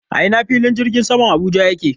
A ina fillin jirgin saman Abuja yake?